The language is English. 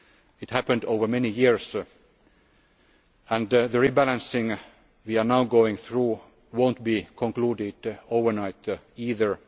overnight. It happened over many years, and the rebalancing we are now going through will not be concluded overnight